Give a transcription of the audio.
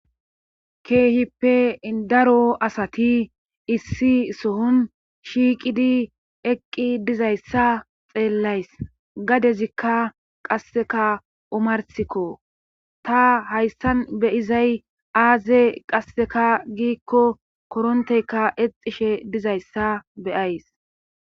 keehippe daro asati issi sohon shiiqidi eqqi dizayssa xeellays gadezikka qasseka umarsikko ta hayssan beyizay aaze qasseka giikko koronteyka exishe dizayssa beyays